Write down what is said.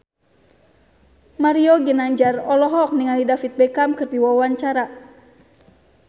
Mario Ginanjar olohok ningali David Beckham keur diwawancara